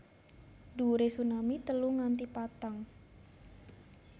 Dhuwure tsunami telu nganti patang